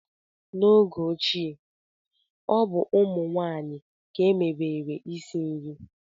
n'oge ochie, ọ bụ ụmụ nwanyị ka emebere isi nri